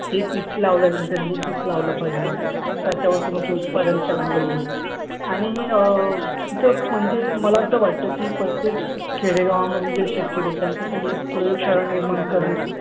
हे पीक लावल्यानंतर हे पीक लावलं पाहिजे. त्याच्यावर तुमचे उत्पादन चांगलं येईल. आणि अं म्हणजे मला असं वाटतं की, प्रत्येक खेडेगावांमध्ये जे शेतकरी आहेत त्यांच्यासाठी एक प्रयोगशाळा निर्माण करणं